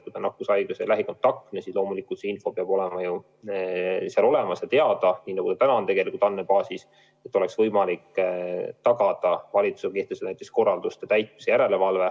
Kui ta on nakkushaige või lähikontaktne, siis loomulikult see info peab seal olemas olema ja teada, nii nagu see praegugi on andmebaasis olemas, et valitsusel oleks võimalik tagada korralduste täitmise järelevalve.